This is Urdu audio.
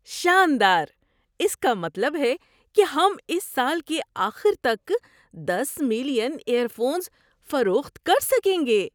شاندار! اس کا مطلب ہے کہ ہم اس سال کے آخر تک دس ملین ایئر فونز فروخت کر سکیں گے!